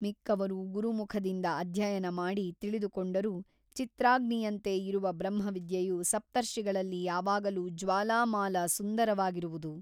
ಮಿಕ್ಕವರು ಗುರುಮುಖದಿಂದ ಅಧ್ಯಯನ ಮಾಡಿ ತಿಳಿದುಕೊಂಡರೂ ಚಿತ್ರಾಗ್ನಿಯಂತೆ ಇರುವ ಬ್ರಹ್ಮವಿದ್ಯೆಯು ಸಪ್ತರ್ಷಿಗಳಲ್ಲಿ ಯಾವಾಗಲೂ ಜ್ವಾಲಾಮಾಲಾಸುಂದರವಾಗಿರುವುದು.